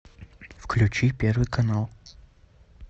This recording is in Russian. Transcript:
включи первый канал